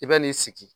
I bɛ n'i sigi